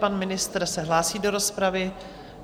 Pan ministr se hlásí do rozpravy.